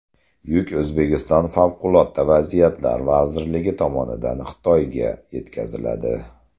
Yuk O‘zbekiston Favqulodda vaziyatlar vazirligi tomonidan Xitoyga yetkaziladi.